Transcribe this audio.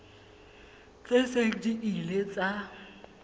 tse seng di ile tsa